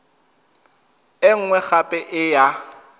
e nngwe gape e ya